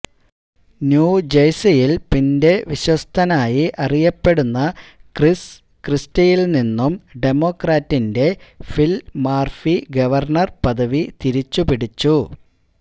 ന്യൂജഴ്സിയില് പിന്റെ വിശ്വസ്തനായി അറിയപ്പെടുന്ന ക്രിസ് ക്രിസ്റ്റിയില്നിന്നും ഡെമോക്രാറ്റിന്റെ ഫില് മാര്ഫി ഗവര്ണര്പദവി തിരിച്ചുപിടിച്ചു